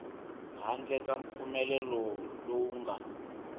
handle ka mpfumelelo lowu nga